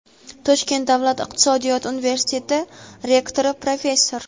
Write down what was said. Toshkent davlat iqtisodiyot universiteti rektori, professor;.